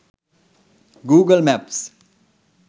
google maps